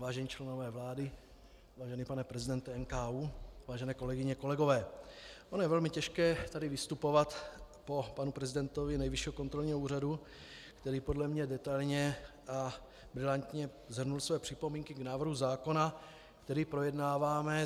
Vážení členové vlády, vážený pane prezidente NKÚ, vážené kolegyně, kolegové, ono je velmi těžké tady vystupovat po panu prezidentovi Nejvyššího kontrolního úřadu, který podle mě detailně a brilantně shrnul své připomínky k návrhu zákona, který projednáváme.